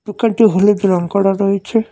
দোকানটি হলুদ রং করা রয়েছে।